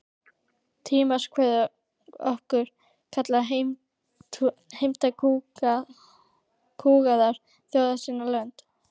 Tímans kvöð okkur kallar, heimta kúgaðar þjóðir sín lönd.